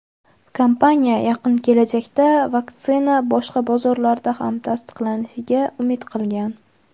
Kompaniya yaqin kelajakda vaksina boshqa bozorlarda ham tasdiqlanishiga umid qilgan.